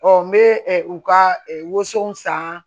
n bɛ ɛ u ka woson san